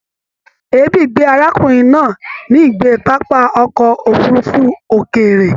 Èébì gbé arákùnrin náà ní ìgbé pápá ọkọ òfurùnfu òkéré